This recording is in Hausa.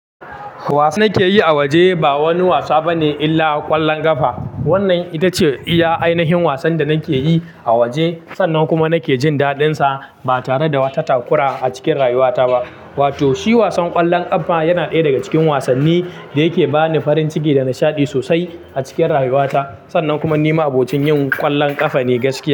Wasan nake yi a waje ba wani wasa bane illa ƙwallon ƙafa. Wannan ita ce iya ainihin wasan da nake yi a waje sannan kuma nake jin daɗinsa ba tare da wata takura a cikin rayuwata ba. Wato shi wasan ƙwallon ƙafa yana ɗaya daga cikin wasanni da yake bani farin ciki da nishaɗi sosai a cikin rayuwata sannan kuma ni ma'abocin yin ƙwallon ƙafa ne gaskiya.